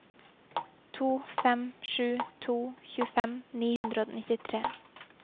to fem sju to tjuefem ni hundre og nittitre